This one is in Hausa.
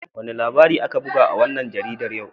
Wane labari aka buga a wannan jaridar yau?